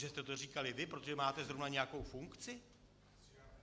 Že jste to říkali vy, protože máte zrovna nějakou funkci?